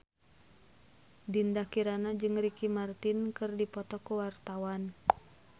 Dinda Kirana jeung Ricky Martin keur dipoto ku wartawan